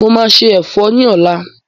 Mo máa sé ẹ̀fọ́ ni ọ̀la.